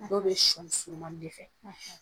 Dɔw bɛ sɔni surumani de fɛ